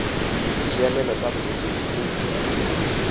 ditshiamelo tsa bolwetsi go uif